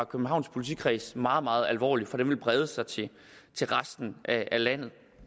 københavns politikreds meget meget alvorligt for den vil brede sig til resten af landet